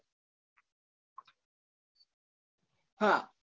હા અને